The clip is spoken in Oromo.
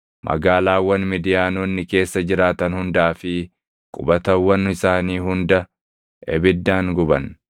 Magaalaawwan Midiyaanonni keessa jiraatan hundaa fi qubatawwan isaanii hunda ibiddaan guban.